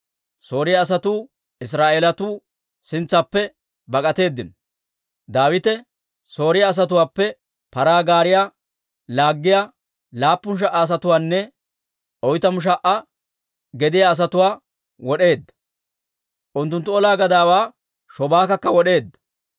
Sooriyaa asatuu Israa'eelatuu sintsaappe bak'atteedino; Daawite Sooriyaa asatuwaappe paraa gaariyaa laaggiyaa laappun sha"a asatuwaanne oytamu sha"a gediyaa asatuwaa wod'eedda; unttunttu olaa gadaawaa Shobaakakka wod'eedda.